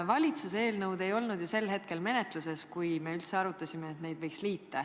Valitsuse eelnõu ei olnud ju sel hetkel menetluses, kui me üldse arutasime, et need võiks liita.